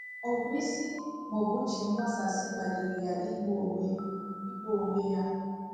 Ọ bụ isi maọbụ uche mgbasasị kpaliri ya igbu onwe igbu onwe ya?